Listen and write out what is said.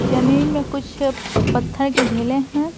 जमीन में कुछ पत्थर के ढेले हैं।